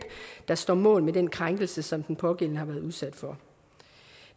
der står mål med den krænkelse som den pågældende har været udsat for